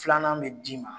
Filanan bɛ d'i ma